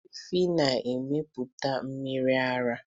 Efi na emepụta mmiri ara